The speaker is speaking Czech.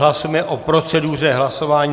Hlasujeme o proceduře hlasování.